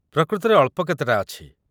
ପ୍ରକୃତରେ ଅଳ୍ପ କେତେଟା ଅଛି।